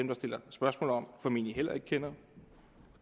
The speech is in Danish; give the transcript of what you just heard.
der stiller spørgsmålene formentlig heller ikke kender